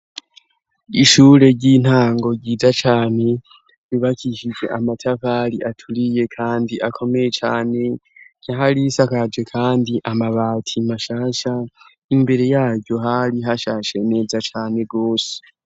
Ishure ry'intango ryiza cane ryubakishije amatafari aturiye kandi akomeye cane yari isakaje kandi amabati mashasha imbere yaryo hari hashashe neza cane gose.